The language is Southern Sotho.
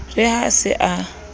re ha a se a